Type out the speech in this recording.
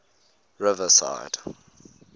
riverside